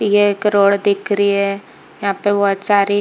ये एक रोड दिख रही है यहाँ पे बहोत सारी--